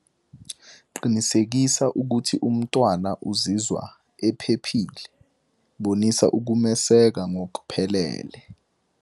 Qinisekisa ukuthi umntwana uzizwa ephephile, bonisa ukumeseka ngokuphelele.